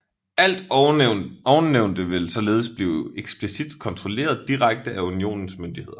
Alt ovennævnte ville således blive eksplicit kontrolleret direkte af Unionens myndigheder